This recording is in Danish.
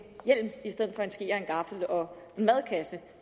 gaffel og en madkasse